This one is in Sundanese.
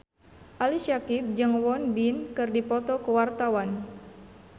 Ali Syakieb jeung Won Bin keur dipoto ku wartawan